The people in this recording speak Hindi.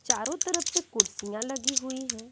चारों तरफ से कुर्सियां लगी हुई है।